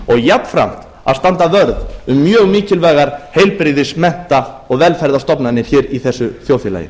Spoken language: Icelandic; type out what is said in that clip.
og jafnframt að standa vörð um mjög mikilvægar heilbrigðis mennta og velferðarstofnanir hér í þessu þjóðfélagi